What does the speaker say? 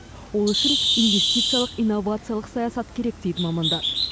ол үшін инвестициялық инновациялық саясат керек дейді мамандар